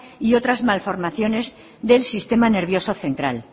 y otras malformaciones del sistema nervioso central